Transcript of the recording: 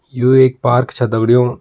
यू एक पार्क छ दगड़ियों --